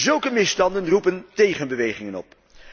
Zulke misstanden roepen tegenbewegingen op.